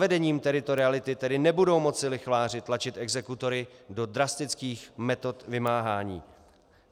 Zavedením teritoriality tedy nebudou moci lichváři tlačit exekutory do drastických metod vymáhání.